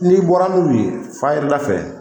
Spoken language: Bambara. N'i bɔra n'u ye fayiri da fɛ.